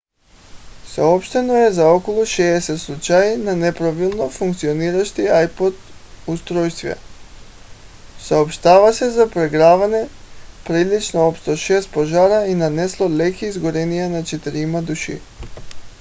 съобщено е за около 60 случая на неправилно функциониращи ipod устройства. съобщава се за прегряване причинило общо шест пожара и нанесло леки изгаряния на четирима души